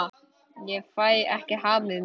Ég fæ ekki hamið mig.